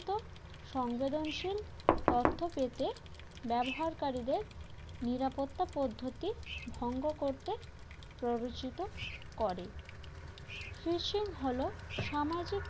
সংবেদনশীল৷ তথ্য পেতে ব্যবহারকারীদের নিরাপত্তা পদ্ধতির ভঙ্গ করতে প্ররোচিত করে fishing হল সামাজিক